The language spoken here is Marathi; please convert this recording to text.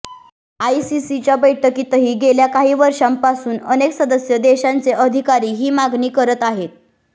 आयसीसीच्या बैठकीतही गेल्या काही वर्षांपासून अनेक सदस्य देशांचे अधिकारी ही मागणी करत आहेत